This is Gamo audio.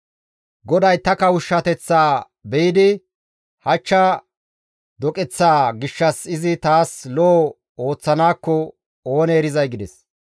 GODAY ta kawushshateththaa be7idi hachcha doqeththaa gishshas izi taas lo7o ooththanaakko oonee erizay» gides.